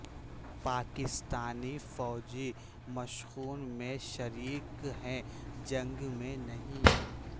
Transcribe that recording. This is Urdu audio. پاکستانی فوجی مشقوں میں شریک ہیں جنگ میں نہیں